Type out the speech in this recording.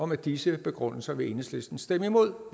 med disse begrundelser vil enhedslisten stemme imod